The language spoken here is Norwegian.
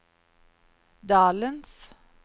dalens